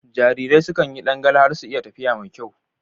Jarirai sukan yi ɗangale har su iya tafiya mai kyau.